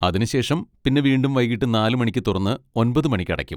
അതിനുശേഷം പിന്നെ വീണ്ടും വൈകീട്ട് നാല് മണിക്ക് തുറന്ന് ഒൻപത് മണിക്ക് അടക്കും.